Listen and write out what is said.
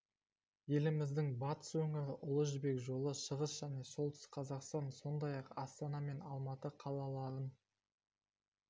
еліміздің батыс өңірі ұлы жібек жолы шығыс және солтүстік қазақстан сондай-ақ астана мен алматы қалаларын